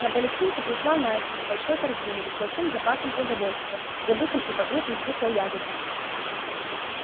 на палестинку пришла настя с большой корзиной с большим запасом продовольствия забытым и покрытым кислой ягодой